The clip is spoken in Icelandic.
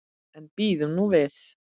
En bíðum nú við.